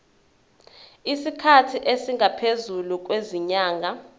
isikhathi esingaphezulu kwezinyanga